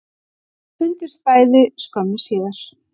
Þau fundust bæði skömmu síðar